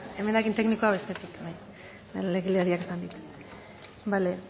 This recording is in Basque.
emendakin teknikoak bestetik bai legelaria esan dit bale